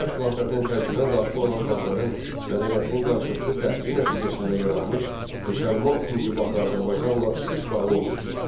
Ərəb xilafətinin tərkibinə daxil olan xalqların mədəniyyətinin qarşılıqlı təsiri nəticəsində yaranmış Müsəlman intibahı Azərbaycanla sıx bağlı olmuşdur.